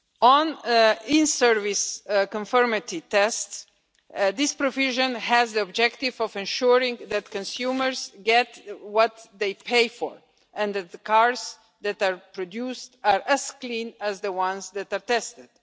On in service conformity tests, this provision has the objective of ensuring that consumers get what they pay for and that the cars that are produced are as clean as the ones that are tested.